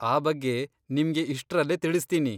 ಆ ಬಗ್ಗೆ ನಿಮ್ಗೆ ಇಷ್ಟ್ರಲ್ಲೇ ತಿಳಿಸ್ತೀನಿ.